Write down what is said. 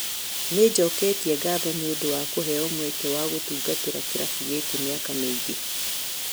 Ni njũketie ngatho nĩ ũndũ wa kũheo mweke wa gũtungatĩra kĩrafu gĩkĩ mĩaka mĩingĩ.